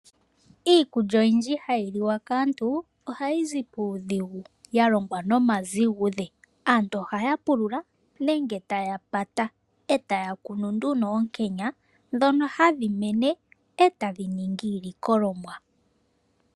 Iikulya oyindji hayi liwa kaantu ohayizi puudhigu ya longwa noma zigudhe . Aantu ohaya pulula nenge taya Pata etaya kunu nduno oonkenya ndhono hadhi mene etadhi ningi iilikolomwa